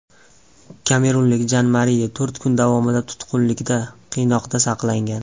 Kamerunlik Jan Mariye to‘rt kun davomida tutqunlikda, qiynoqda saqlangan.